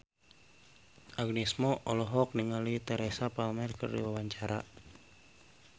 Agnes Mo olohok ningali Teresa Palmer keur diwawancara